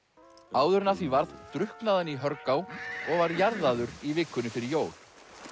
áður en af því varð drukknaði hann í Hörgá og var jarðaður í vikunni fyrir jól